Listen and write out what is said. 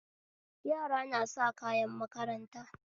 Yara nasa kayan makaranta